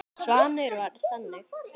Svanur var þannig.